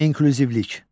İnklüzivlik.